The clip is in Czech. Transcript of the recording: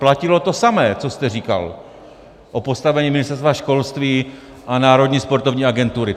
Platilo to samé, co jste říkal o postavení Ministerstva školství a Národní sportovní agentury.